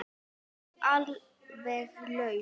Og alveg laus.